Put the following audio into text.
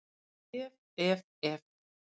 Ef, ef, ef!